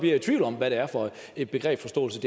jeg i tvivl om hvad det er for en begrebsforståelse